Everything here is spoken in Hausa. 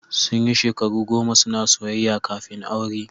Sun yi shekaru goma suna soyayya kafin aure.